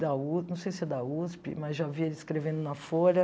Da u não sei se é da USP, mas já vi ele escrevendo na Folha.